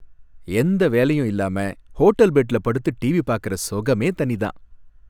எந்த வேலையும் இல்லாம ஹோட்டல் பெட்டுல படுத்து டிவி பாக்குற சுகமே தனிதான்.